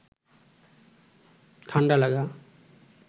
ঠাণ্ডা লাগা